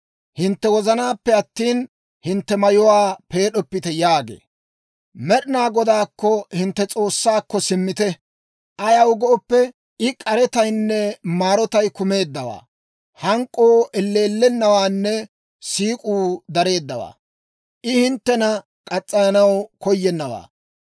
Hintte wozanaappe attina, hintte mayuwaa peed'oppite» yaagee. Med'inaa Godaakko, hintte S'oossaakko, simmite; ayaw gooppe, I k'aretaynne maarotay kumeeddawaa; hank'k'oo elleellennawaanne siik'uu dareeddawaa; I hinttena muranaw koyennawaa.